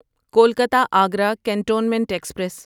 Kolkata Agra cantonment express